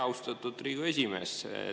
Austatud Riigikogu esimees!